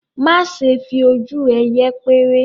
má ṣe fi ojú yẹpẹrẹ.